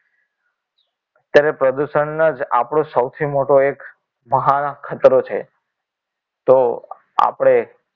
અત્યારે પ્રદૂષણ જ આપણો સૌથી મોટો એક મહાન ખતરો છે તો આપણે